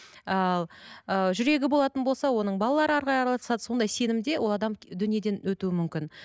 ал ы жүрегі болатын болса оның балалары араласады сондай сенімде ол адам дүниеден өтуі мүмкін